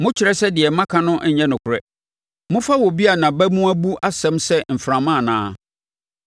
Mokyerɛ sɛ deɛ maka no nnyɛ nokorɛ, mofa obi a nʼabamu abu asɛm sɛ mframa anaa?